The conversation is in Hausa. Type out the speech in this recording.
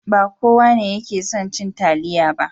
Ba kowa ne yake son cin taliya ba.